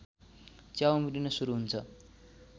च्याउ उम्रिन सुरु हुन्छ